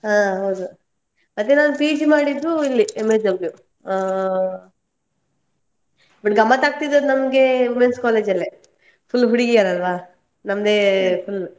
ಹಾ ಹೌದು. ಮತ್ತೆ ನಾನ್ PG ಮಾಡಿದ್ದು ಇಲ್ಲಿ , ಹಾ but ಗಮ್ಮತ್ ಆಗ್ತಿದ್ದದ್ದು ನಮ್ಗೆ Women's College ಅಲ್ಲೇ, full ಹುಡುಗಿಯರಲ್ವಾ, ನಮ್ದೇ full .